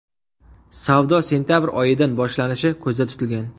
Savdo sentabr oyidan boshlanishi ko‘zda tutilgan.